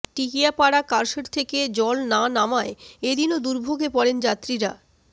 Tikiapara car shed থেকে জল না নামায় এদিনও দুর্ভোগে পড়েন যাত্রীরা